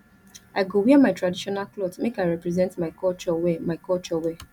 i go wear my traditional cloth make i represent my culture well my culture well